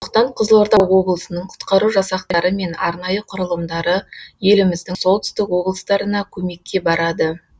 сондықтан қызылорда облысының құтқару жасақтары мен арнайы құрылымдары еліміздің солтүстік облыстарына көмекке барады